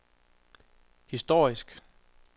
historisk